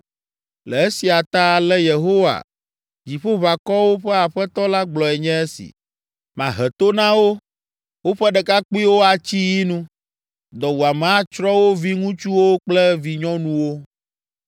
Le esia ta, ale Yehowa Dziƒoʋakɔwo ƒe Aƒetɔ la gblɔe nye esi: ‘Mahe to na wo. Woƒe ɖekakpuiwo atsi yi nu, dɔwuame atsrɔ̃ wo viŋutsuwo kple vinyɔnuwo.